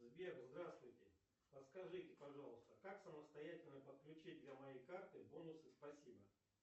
сбер здравствуйте подскажите пожалуйста как самостоятельно подключить для моей карты бонусы спасибо